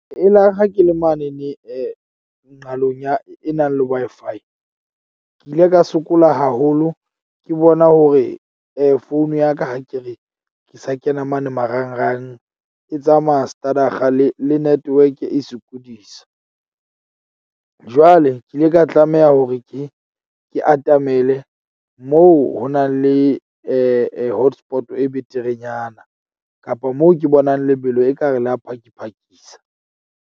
Elare ha ke le mane ne nqalong ya e nang le Wi-Fi. Ke ile ka sokola haholo ke bona hore phone ya ka ha ke re ke sa kena mane marangrang e tsamaya stadig-a le network e sokodisa. Jwale ke ile ka tlameha hore ke ke atamele moo ho nang le hotspot-o e beterenyana kapa moo ke bonang lebelo ekare la phakiphakisa.